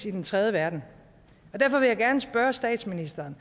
i den tredje verden derfor vil jeg gerne spørge statsministeren